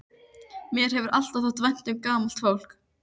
Mér hefur alltaf þótt vænt um gamalt fólk.